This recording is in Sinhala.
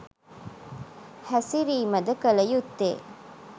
හැසිරීමද කල යුත්තේ.